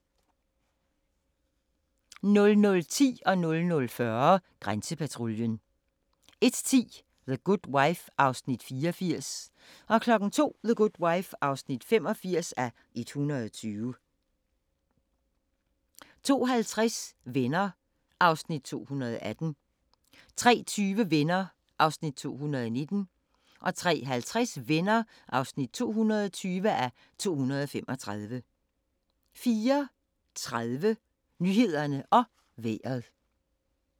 00:10: Grænsepatruljen 00:40: Grænsepatruljen 01:10: The Good Wife (84:120) 02:00: The Good Wife (85:120) 02:50: Venner (218:235) 03:20: Venner (219:235) 03:50: Venner (220:235) 04:30: Nyhederne og Vejret